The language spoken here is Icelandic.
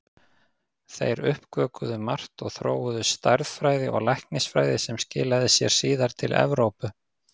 Þeir uppgötvuðu margt og þróuðu stærðfræði og læknisfræði sem skilaði sér síðar til Evrópu.